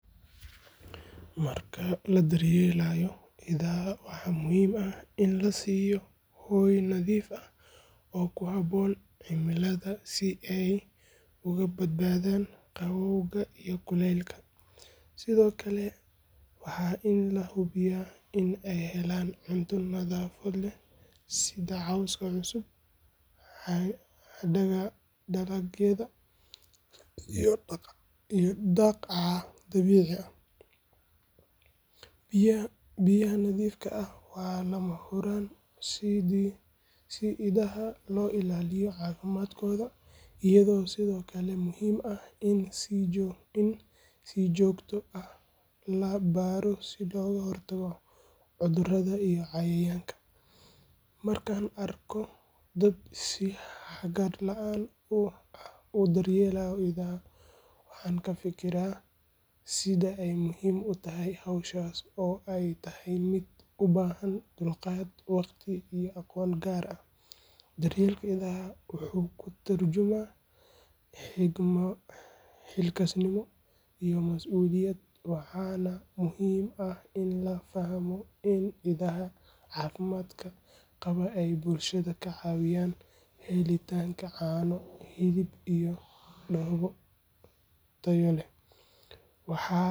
Marka la daryeelayo idaha, waxaa muhiim ah in la siiyo hoy nadiif ah oo ku habboon cimilada si ay uga badbaadaan qabowga iyo kuleylka. Sidoo kale, waa in la hubiyaa in ay helaan cunto nafaqo leh sida cawska cusub, hadhaaga dalagyada iyo daaq dabiici ah. Biyaha nadiifka ah waa lama huraan si idaha loo ilaaliyo caafimaadkooda, iyadoo sidoo kale muhiim ah in si joogto ah loo baaro si looga hortago cudurrada iyo cayayaanka. Markaan arko dad si hagar la’aan ah u daryeelaya idaha, waxaan ka fikiraa sida ay muhiim u tahay hawshaas oo ay tahay mid u baahan dulqaad, waqti iyo aqoon gaar ah. Daryeelka idaha wuxuu ka tarjumayaa xilkasnimo iyo mas’uuliyad, waxaana muhiim ah in la fahmo in idaha caafimaadka qaba ay bulshada ka caawinayaan helitaanka caano, hilib iyo dhoobo tayo leh.